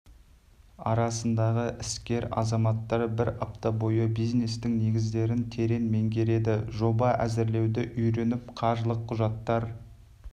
арасындағы іскер азаматтар бір апта бойы бизнестің негіздерін терең меңгереді жоба әзірлеуді үйреніп қаржылық құжаттар